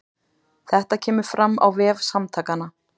Þetta kemur fram á vef Samtakanna